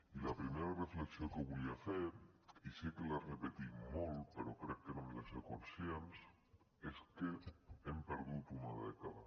i la primera reflexió que volia fer i sé que la repetim molt però crec que n’hem de ser conscients és que hem perdut una dècada